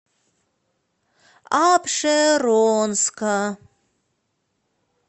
апшеронска